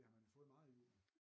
Det har man jo fået meget i julen